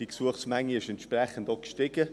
Die Gesuchsmenge ist entsprechend gestiegen.